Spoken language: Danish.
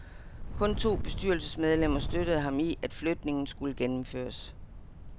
Kun to bestyrelsesmedlemmer støttede ham i, at flytningen skulle gennemføres.